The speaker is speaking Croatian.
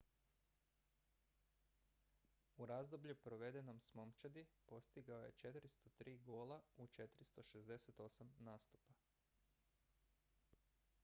u razdoblju provedenom s momčadi postigao je 403 gola u 468 nastupa